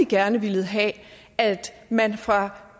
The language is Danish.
gerne villet have at man fra